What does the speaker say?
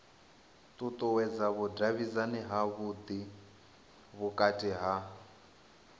ṱuṱuwedza vhudavhidzani havhudi vhukati ha